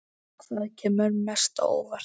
Hvað kemur mest á óvart?